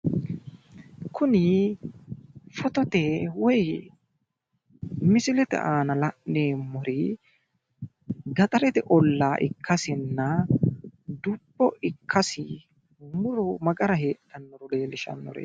kuni fotote woy misilete aana la'neemmori gaxarete ollaa ikkasinna dubbo ikkasi muro ma gara heedhannoro leellishannoreeti